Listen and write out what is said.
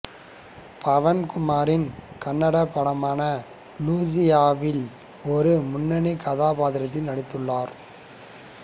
பவன் குமாரின் கன்னட படமான லூசியாவில் ஒரு முன்னணி கதாபாத்திரத்தில் நடித்துள்ளார்